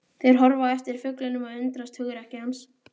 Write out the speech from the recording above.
Þeir horfa á eftir fuglinum og undrast hugrekki hans.